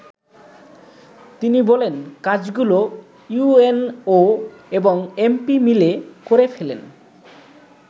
তিনি বলেন, “ কাজগুলো ইউএনও এবং এমপি মিলে করে ফেলেন।